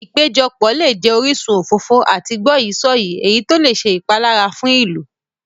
Ìpéjọpọ̀ lè jẹ orísun òfófó àti gbọ́yìí-sọ̀yìí, èyí tó lè ṣe ìpalára fún ìlú.